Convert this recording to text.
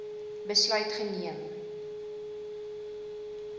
besluit geneem